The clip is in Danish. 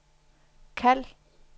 kald